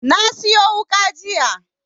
Na siyo wuƙa jiya